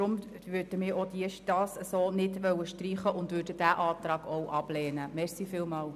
Deshalb wollen wir es auch nicht streichen und lehnen diesen Antrag ebenfalls ab.